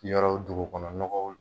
yɔrɔ dugu kɔnɔ nɔgɔw